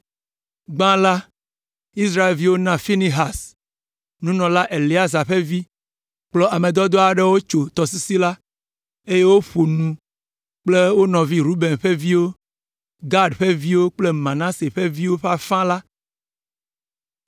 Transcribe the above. Gbã la, Israelviwo na Finehas, nunɔla Eleazar ƒe vi, kplɔ ame dɔdɔ aɖewo tso tɔsisi la, eye woƒo nu kple wo nɔvi Ruben ƒe viwo, Gad ƒe viwo kple Manase ƒe viwo ƒe afã la.